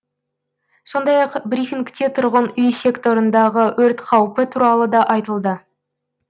сондай ақ брифингте тұрғын үй секторындағы өрт қаупі туралы да айтылды